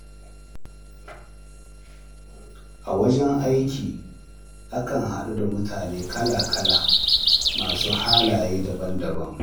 A wajen aiki, akan haɗu da mutane kala-kala masu halaye daban-daban.